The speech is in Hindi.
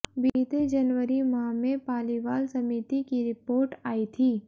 बीते जनवरी माह में पालीवाल समिति की रिपोर्ट आई थी